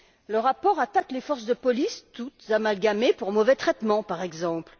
Le rapport attaque les forces de police, toutes amalgamées pour mauvais traitement, par exemple.